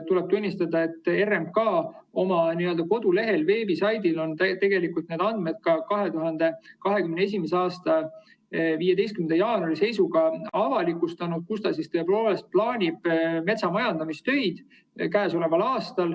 " Tuleb tunnistada, et RMK oma kodulehel on 2021. aasta 15. jaanuari seisuga avalikustanud need andmed, kus ta käesoleval aastal plaanib metsamajandamistöid.